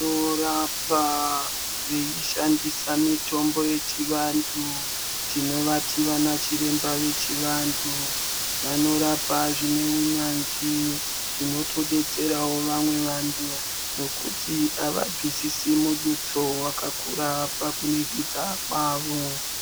Vanorapa veishandisa mitombo yechivantu tinovati vana chiremba vevantu. Vanorapa zvine unyanzvi zvinotobatsirawo vantu ngekuti avabvisisi mudutso wakakura pakuringidza kwavo.